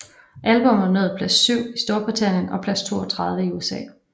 Albummet nåede plads 7 i Storbritannien og plads 32 i USA